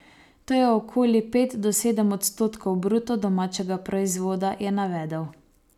To je okoli pet do sedem odstotkov bruto domačega proizvoda, je navedel.